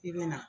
I bɛ na